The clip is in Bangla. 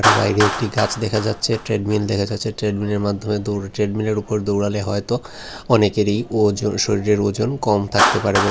বাইরে একটি গাছ দেখা যাচ্ছে ট্রেডমিল দেখা যাচ্ছে ট্রেডমিলের মাধ্যমে দৌড় ট্রেডমিলের উপরে দৌড়ালে হয়তো অনেকেরই ওজন শরীরের ওজন কম থাকতে পারে ব--